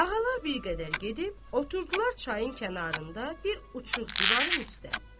Ağalar bir qədər gedib oturdular çayın kənarında bir uçuq divarın üstə.